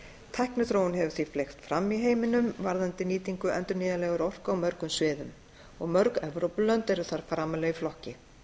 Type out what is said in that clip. tækniþróun hefur því fleygt fram í heiminum varðandi nýtingu endurnýjanlegrar orku á mörgum sviðum mörg evrópulönd eru þar framarlega í flokki